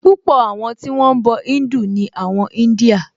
Púpọ̀ àwọn tí wọ́n ń bọ̀ Híńdù ni àwọn India